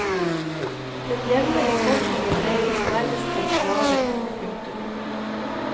Den jevne befolkningen regnes nærmest som slaver. punktum